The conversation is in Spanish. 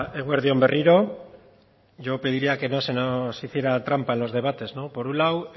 eguerdi on berriro yo pediría que no se nos hiciera trampa en los debates por un lado